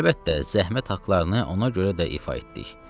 Əlbəttə, zəhmət haqlarını ona görə də ifa etdik.